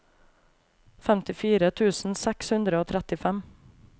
femtifire tusen seks hundre og trettifem